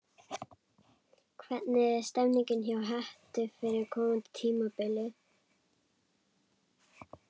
Hvernig er stemningin hjá Hetti fyrir komandi tímabil?